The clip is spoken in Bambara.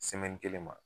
kelen ma